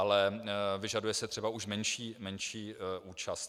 Ale vyžaduje se už třeba menší účast.